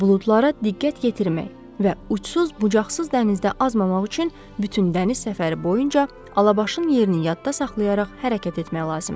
buludlara diqqət yetirmək və uçsuz-bucaqsız dənizdə azmamaq üçün bütün dəniz səfəri boyunca Alabaşın yerini yadda saxlayaraq hərəkət etmək lazımdır.